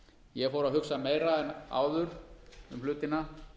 ég fór að hugsa meira en áður um hlutina